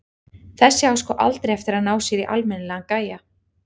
Þessi á sko aldrei eftir að ná sér í almennilegan gæja.